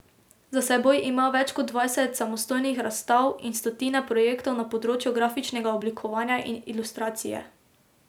Za seboj ima več kot dvajset samostojnih razstav in stotine projektov na področju grafičnega oblikovanja in ilustracije.